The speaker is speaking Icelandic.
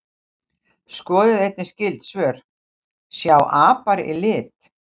Skoðið einnig skyld svör: Sjá apar í lit?